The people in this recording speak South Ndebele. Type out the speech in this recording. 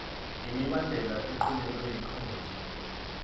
ngemibandela equntelwe yikhotho